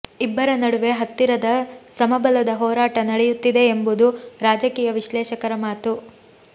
ಇಬ್ಬರ ನಡುವೆ ಹತ್ತಿರದ ಸಮಬಲದ ಹೋರಾಟ ನಡೆಯುತ್ತಿದೆ ಎಂಬುದು ರಾಜಕೀಯ ವಿಶ್ಲೇಷಕರ ಮಾತು